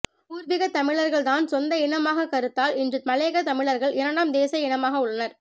பூர்விக தமிழர்கள் தான் சொந்த இனமாக கருத்தால் இன்று மலையக தமிழர்கள் இரண்டாம் தேசிய இனமாக உள்ளனர்